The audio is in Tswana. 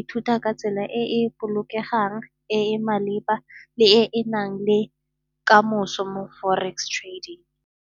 ithuta ka tsela e e bolokegang e e maleba le e e na leng kamoso mo forex trading.